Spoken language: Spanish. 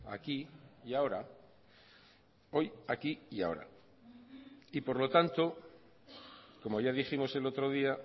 aquí y ahora hoy aquí y ahora y por lo tanto como ya dijimos el otro día